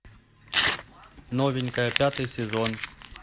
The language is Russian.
новенькая пятый сезон